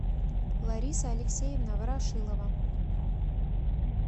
лариса алексеевна ворошилова